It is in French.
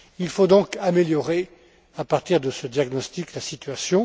Il faut donc améliorer, à partir de ce diagnostic, la situation.